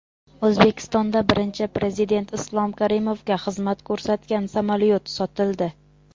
O‘zbekistonda Birinchi Prezident Islom Karimovga xizmat ko‘rsatgan samolyot sotildi.